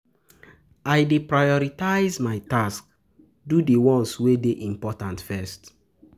I dey prioritize my tasks, do di ones wey dey important first.